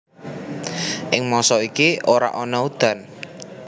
Ing mangsa iki ora ana udan